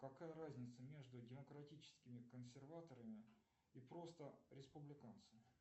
какая разница между демократическими консерваторами и просто республиканцами